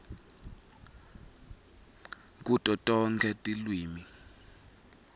kuto tonkhe tilwimi